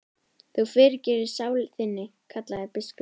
Þú fyrirgerir sálu þinni, kallaði biskup.